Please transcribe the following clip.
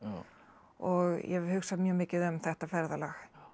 og ég hef hugsað mjög mikið um þetta ferðalag